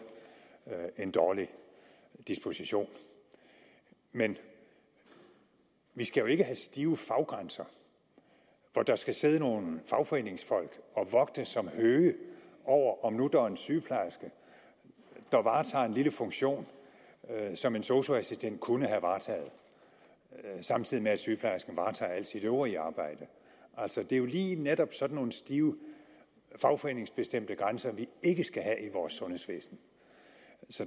en dårlig disposition men vi skal jo ikke have stive faggrænser hvor der skal sidde nogle fagforeningsfolk og vogte som høge over om der nu er en sygeplejerske der varetager en lille funktion som en sosu assistent kunne have varetaget samtidig med at sygeplejersken varetager alt sit øvrige arbejde det er jo lige netop sådan nogle stive fagforeningsbestemte grænser vi ikke skal have i vores sundhedsvæsen